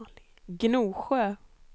Gnosjö